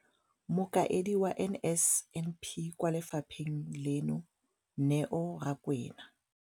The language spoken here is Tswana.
Mokaedi wa NSNP kwa lefapheng leno, Neo Rakwena,